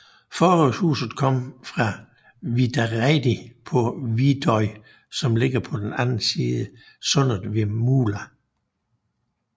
Forrådshuset kommer fra Vidareidi på Vidoy som ligger på den anden side sundet ved Mula